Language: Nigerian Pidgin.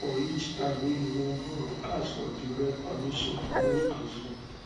for each time wey you wan borrow ask for direct permission no assume